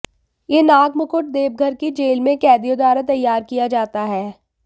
यह नाग मुकुट देवघर की जेल में कैदियों द्वारा तैयार किया जाता है